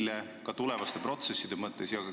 Seda ka tulevaste protsesside mõttes.